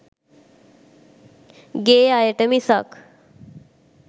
ගේ අයට මිසක්